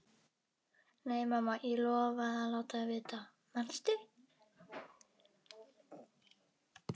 Nei, mamma, ég lofaði að láta þig vita, manstu?